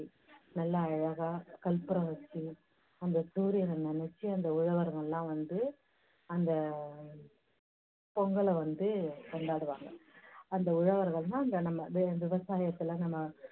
நல்லா அழகா கற்பூரம் வெச்சு, அந்த சூரியனை நினைச்சு அந்த உழவர்கள் எல்லாம் வந்து அந்த பொங்கலை வந்து கொண்டாடுவாங்க. அந்த உழவர்கள்னா இந்த நம்ம விவசாயத்துல நம்ம